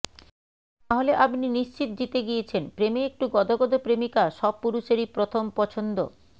তাহলে আপনি নিশ্চিত জিতে গিয়েছেন প্রেমে একটু গদগদ প্রেমিকা সব পুরুষেরই প্রথম পছন্দ